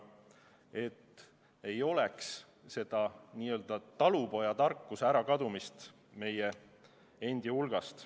Et ei oleks seda n-ö talupojatarkuse ärakadumist meie seest.